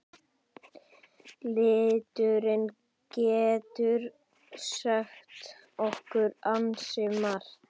Liturinn getur sagt okkur ansi margt.